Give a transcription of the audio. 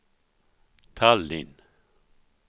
Tallinn